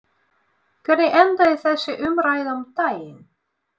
Hvernig endaði þessi umræða um daginn?